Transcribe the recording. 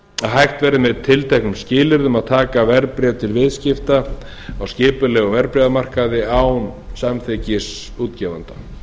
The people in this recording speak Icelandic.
að hægt verði með tilteknum skilyrðum að taka verðbréf til viðskipta á skipulegum verðbréfamarkaði án samþykkis útgefanda